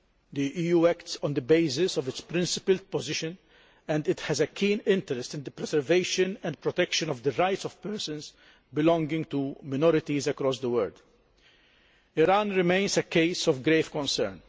The EU acts on the basis of its principled position and it has a keen interest in the preservation and protection of the rights of persons belonging to minorities across the world. Iran remains a case of grave concern.